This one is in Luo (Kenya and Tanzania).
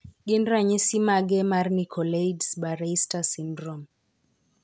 Gin ranyisi mage mar Nicolaides Baraitser syndrome?